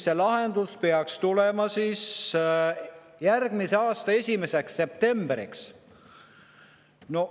Lahendus peaks tulema järgmise aasta 1. septembriks.